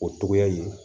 O togoya in